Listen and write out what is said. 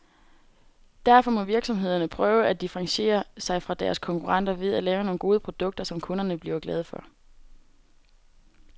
Derfor må virksomhederne prøve at differentiere sig fra deres konkurrenter ved at lave nogle gode produkter, som kunderne bliver glade for.